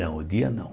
Não, o dia não.